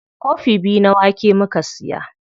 Kofi biyu na wake muka siya.